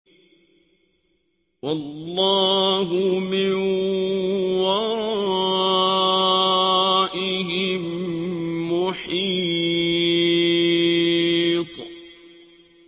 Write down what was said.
وَاللَّهُ مِن وَرَائِهِم مُّحِيطٌ